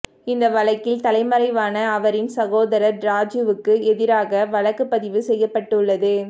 இந்த வழக்கில் தலைமறைவான அவரின் சகோதரர் ராஜீவுக்கு எதிராக வழக்கு பதிவு செய்யப்பட்டுள்ளது